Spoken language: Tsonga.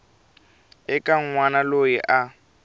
eka n wana loyi a